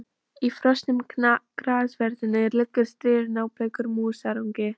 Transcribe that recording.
Í frosnum grassverðinum liggur stirður, nábleikur músarungi.